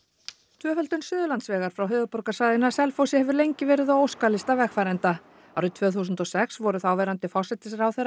tvöföldun Suðurlandsvegar frá höfuðborgarsvæðinu að Selfossi hefur lengi verið á óskalista vegfarenda árið tvö þúsund og sex voru þáverandi forsætisráðherra